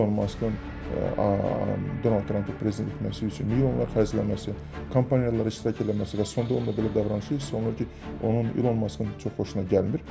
İlon Maskın Donald Trampın prezident seçilməsi üçün yollar xərcləməsi, kampaniyalarına dəstək eləməsi və sonda ona belə davranışı isbat olunur ki, onun İlon Maskın çox xoşuna gəlmir.